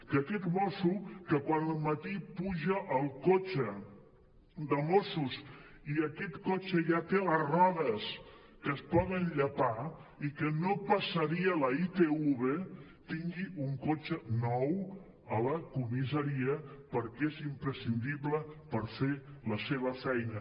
que aquest mosso que quan al matí puja al cotxe de mossos i aquest cotxe ja té les rodes que es poden llepar i que no passaria la itv tingui un cotxe nou a la comissaria perquè és imprescindible per fer la seva feina